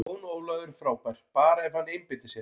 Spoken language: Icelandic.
Jón Ólafur er frábær, bara ef hann einbeitir sér.